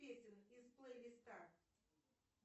песен из плейлиста